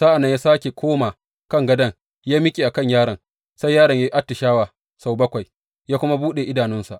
Sa’an nan ya sāke koma kan gadon yă miƙe a kan yaron, sai yaron ya yi atishawa sau bakwai, ya kuma buɗe idanunsa.